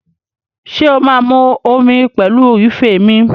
Ṣé o máa mu omi pẹ̀lú ife mi?